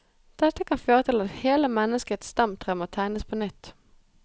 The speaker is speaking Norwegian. Dette kan føre til at hele menneskets stamtre må tegnes på nytt.